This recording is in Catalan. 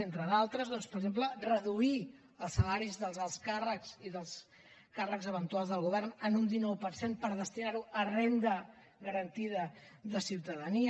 entre d’altres doncs per exemple reduir els salaris dels alts càrrecs i dels càrrecs eventuals del govern en un dinou per cent per destinar ho a renda garantida de ciutadania